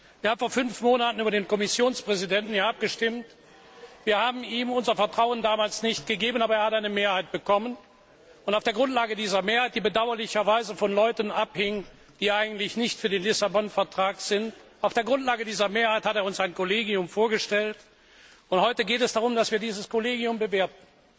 Wir haben vor fünf Monaten hier über den Kommissionspräsidenten abgestimmt, wir haben ihm unser Vertrauen damals nicht gegeben, aber er hat eine Mehrheit bekommen. Auf der Grundlage dieser Mehrheit, die bedauerlicherweise von Leuten abhing, die eigentlich nicht für den Vertrag von Lissabon sind, hat er uns ein Kollegium vorgestellt, und heute geht es darum, dass wir dieses Kollegium bewerten.